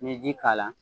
N'i ye ji k'a la